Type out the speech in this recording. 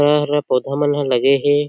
ए हरय पौधा मन ह लगे हे।